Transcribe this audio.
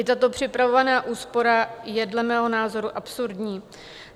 I tato připravovaná úspora je dle mého názoru absurdní.